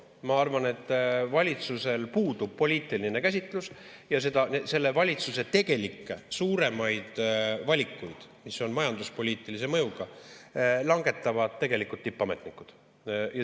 Ma arvan, et valitsusel puudub poliitiline käsitlus ja selle valitsuse tegelikke suuremaid valikuid, mis on majanduspoliitilise mõjuga, langetavad tegelikult tippametnikud.